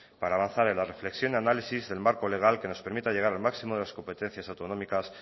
para avanzar en la reflexión y análisis del marco legal que nos permita llegar al máximo de las competencias autonómicas